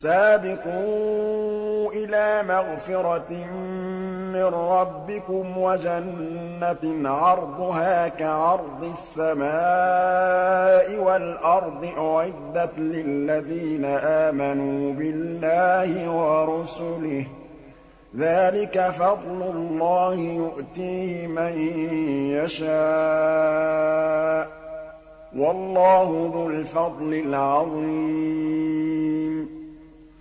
سَابِقُوا إِلَىٰ مَغْفِرَةٍ مِّن رَّبِّكُمْ وَجَنَّةٍ عَرْضُهَا كَعَرْضِ السَّمَاءِ وَالْأَرْضِ أُعِدَّتْ لِلَّذِينَ آمَنُوا بِاللَّهِ وَرُسُلِهِ ۚ ذَٰلِكَ فَضْلُ اللَّهِ يُؤْتِيهِ مَن يَشَاءُ ۚ وَاللَّهُ ذُو الْفَضْلِ الْعَظِيمِ